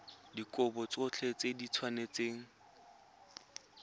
dikopo tsotlhe di tshwanetse go